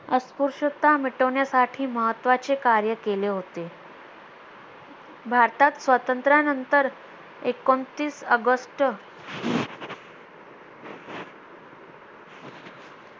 अस्पृश्यता मिटवण्याचे महत्त्वाचे कार्य केले होते भारतात स्वातंत्र्यानंतर एकोणतीस ऑगस्ट